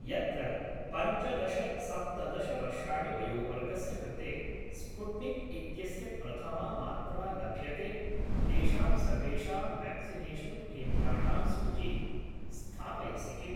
यत्र पञ्चदश सप्तदश वर्षाणि वयोवर्गस्य कृते स्पुट्निक् इत्यस्य प्रथमा मात्रा लभ्यते तेषां सर्वेषां व्याक्सिनेषन् केन्द्राणां सूचीं स्थापयसि किम्?